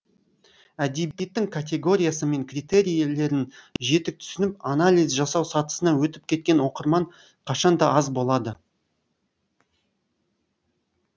әдебиеттің категориясы мен критерилерін жетік түсініп анализ жасау сатысына өтіп кеткен оқырман қашан да аз болады